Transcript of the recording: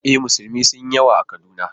E, musulmi sun yi yawa a Kaduna